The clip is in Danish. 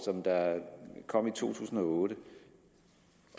der kom i to tusind og otte